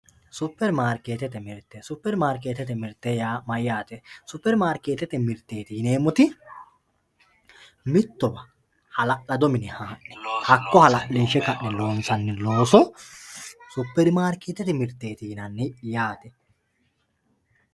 Superi markete super marketete mirteeti yimemori mitowa halalado mine haane hakko halalinshe loonsani looso super marketete mirteeti yinani yaate.